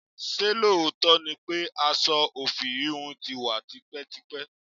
Ṣé lóòótọ́ ni pé aṣọ ofi íhùn tí wá tipẹ́tipẹ́?